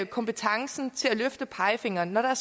kompetencen til at løfte pegefingeren når der er